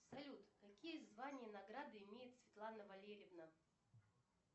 салют какие звания и награды имеет светлана валерьевна